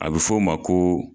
A bi f'o o ma ko